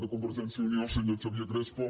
per alvergència i unió el senyor xavier crespo